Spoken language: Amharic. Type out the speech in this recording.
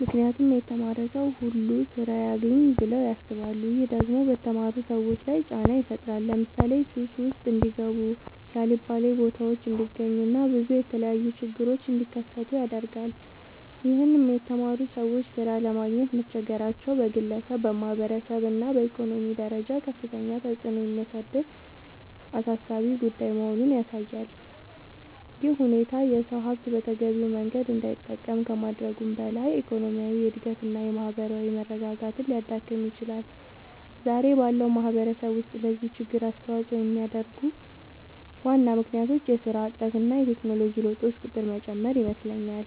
ምክንያቱም የተማረ ሰው ሁሉ ስራ ያግኝ ብለው ያስባሉ። ይህም ደግሞ በተማሩ ሰዎች ላይ ጫና ይፈጥራል ለምሳሌ ሱስ ውስጥ እንዲጋቡ የአልባሌ ቦታዎች እንዲገኙ እና ብዙ የተለያዩ ችግሮች እንዲከሰቱ ያደርጋል ይህም የተማሩ ሰዎች ሥራ ለማግኘት መቸገራቸው በግለሰብ፣ በማህበረሰብ እና በኢኮኖሚ ደረጃ ከፍተኛ ተጽዕኖ የሚያሳድር አሳሳቢ ጉዳይ መሆኑን ያሳያል። ይህ ሁኔታ የሰው ሀብት በተገቢው መንገድ እንዳይጠቀም ከማድረጉም በላይ የኢኮኖሚ እድገትን እና የማህበራዊ መረጋጋትን ሊያዳክም ይችላል። ዛሬ ባለው ማህበረሰብ ውስጥ ለዚህ ችግር አስተዋጽኦ የሚያደርጉ ዋና ምክንያቶች የስራ እጥረት እና የቴክኖሎጂ ለውጦች ቁጥር መጨመር ይመስለኛል